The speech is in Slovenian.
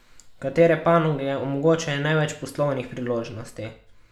Katere panoge omogočajo največ poslovnih priložnosti?